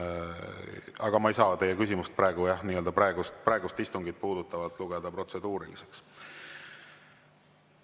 Aga ma ei saa teie küsimust, jah, praegust istungit puudutavalt lugeda protseduuriliseks.